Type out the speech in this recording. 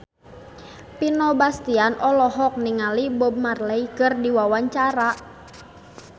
Vino Bastian olohok ningali Bob Marley keur diwawancara